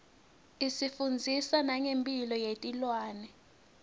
isifundzisa nangemphilo yetilwane